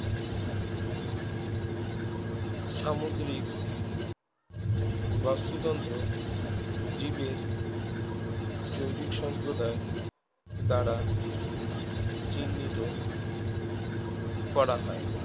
সামুদ্রিক বাস্তুতন্ত্র জীবের জৈবিক সম্প্রদায় দ্বারা চিহ্নিত করা হয়